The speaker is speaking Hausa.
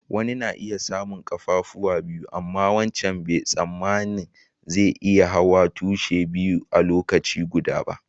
Wanni na iya samu kaffafuwa biyu, amma wancan bai tsamani zai iya hawa tushi biyu a'lokaci guda ba.